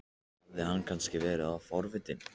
Hafði hann kannski verið of forvitin?